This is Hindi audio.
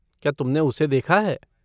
क्या तुमने उसे देखा है?